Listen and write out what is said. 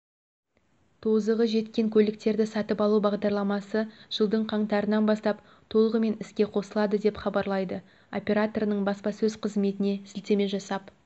тозығы жеткен көліктерді сатып алу бағдарламасы жылдың қаңтарынан бастап толығымен іске қосылады деп хабарлайды операторының баспасөз қызметіне сілтеме жасап